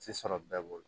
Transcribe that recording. Tɛ sɔrɔ bɛɛ bolo